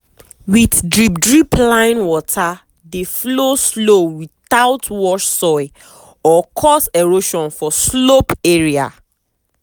with drip drip line water dey flow slow without wash soil or cause erosion for slope area.